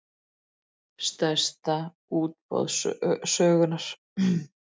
Stærsta útboð sögunnar